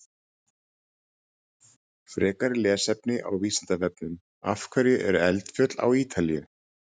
Frekara lesefni á Vísindavefnum: Af hverju eru eldfjöll á Ítalíu?